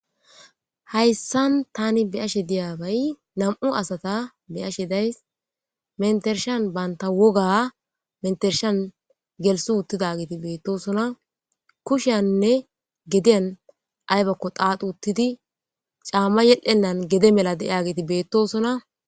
hayssan tani biyashe diyabay namu asata beyashe days mentershan baynta woga mentershan gelsi uttida geeti beettosona kushiyanne gediyan aybakko qaaxu uttidi caamma yedhenan gede mela de7iya geeti beettosona